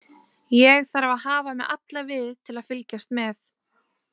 Ég þarf að hafa mig alla við til að fylgjast með.